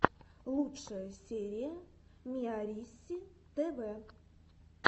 лучшая серия миарисситв